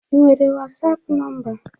Ị nwere wasapụ nọmba?